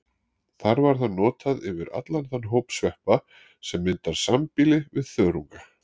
Þar var það notað yfir allan þann hóp sveppa sem myndar sambýli við þörunga.